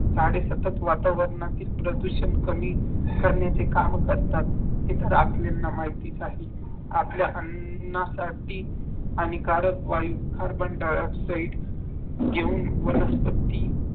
झाडे सतत वातावरणातील प्रदूषण कमी करण्याचे काम करतात ते तर आपल्याला माहितीच आहे आपल्या अन्नासाठी आणि कार्यतवान carbon die oxide सहित